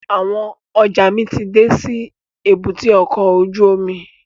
Àwọn ọjọ́ mi ti dé sí èbúté ọkọ̀ ojú omi